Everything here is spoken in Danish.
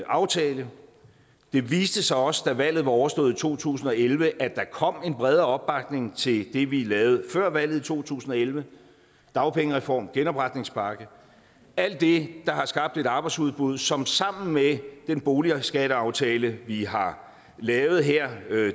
aftale det viste sig også da valget var overstået i to tusind og elleve at der kom en bredere opbakning til det vi lavede før valget i to tusind og elleve dagpengereform genopretningspakke alt det der har skabt et arbejdsudbud som sammen med den boligskatteaftale vi har lavet her